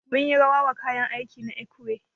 Mun yi rawa wa kayan aiki na ekwe.